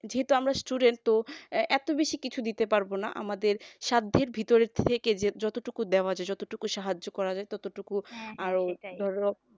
যেহেতু আমরা student তো এত বেশি কিছু দিতে পারব না আমাদের সাধ্যের ভিতর থেকে যে যতটুকু দেওয়ার যতটুকু সাহায্য করা যায় ততটুকু আরো ধরো